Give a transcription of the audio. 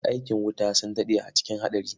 Masu aikin wuta sun daɗe cikin haɗari.